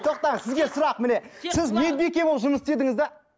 тоқтаңыз сізге сұрақ міне сіз медбике болып жұмыс істедіңіз де